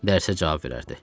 Dərsə cavab verərdi.